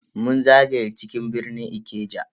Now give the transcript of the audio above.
Mun zagaya cikin birnin Ikeja